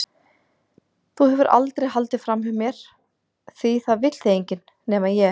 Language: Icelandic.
Þú hefur aldrei haldið framhjá mér því það vill þig enginn- nema ég.